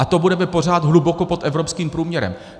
A to budeme pořád hluboko pod evropským průměrem.